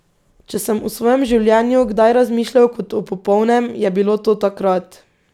Če sem o svojem življenju kdaj razmišljal kot o popolnem, je bilo to takrat.